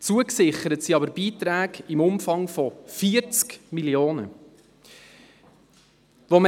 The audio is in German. zugesichert sind aber Beiträge im Umfang von 40 Mio. Franken.